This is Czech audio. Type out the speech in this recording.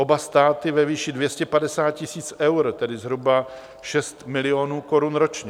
Oba státy ve výši 250 tisíc eur, tedy zhruba 6 milionů korun ročně.